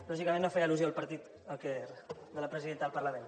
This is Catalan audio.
lògicament no feia al·lusió al partit de la presidenta del parlament